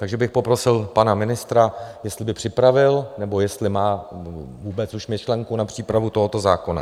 Takže bych poprosil pana ministra, jestli by připravil, nebo jestli má vůbec už myšlenku na přípravu tohoto zákona.